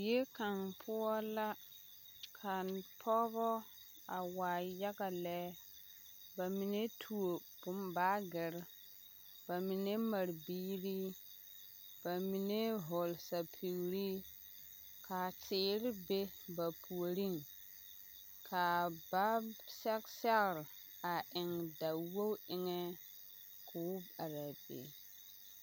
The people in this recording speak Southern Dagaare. Zie kaŋ poɔ la ka pɔgeba a waa yaga lɛ ba mine tuo bon baagere ba mine mare biiri ba mine vɔgle sapigre ka teere be ba puoriŋ kaa ba sɛge sɛgre a eŋ dawogi eŋɛ k'o are a be.